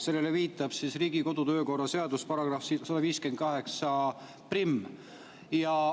Sellele viitab Riigikogu kodu‑ ja töökorra seaduse § 1581.